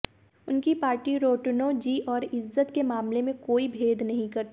उनकी पार्टी रोटीण्रोजी और इज्जत के मामले में कोई भेद नहीं करती